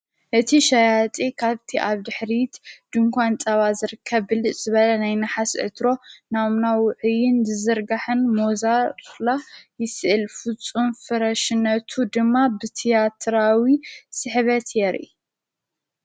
እቲ ሻያጢ ኻብቲ ኣብ ድኅሪት ድንኳን ጠባ ዘርከ ብል ዘበለ ናኣይናሓስ እትሮ ናምናዊሕይን ዝዘርጋሕን ሞዛላ ይስእል ፍፁም ፍረሽነቱ ድማ ብቲያትራዊ ስሕበት የር።